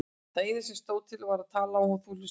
Það eina sem stóð til var að ég talaði og þú hlustaðir.